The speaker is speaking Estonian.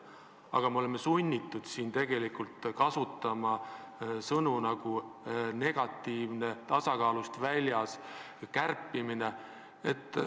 Aga ometi oleme sunnitud kasutama sõnu "negatiivne", "tasakaalust väljas", "kärpimine".